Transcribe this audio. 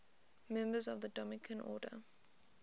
members of the dominican order